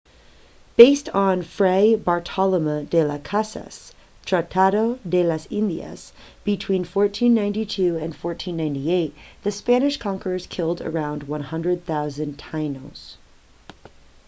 based on fray bartolomé de las casas tratado de las indias between 1492 and 1498 the spanish conquerors killed around 100,000 taínos